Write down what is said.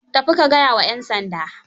Tafi ka gaya wa 'yan sanda.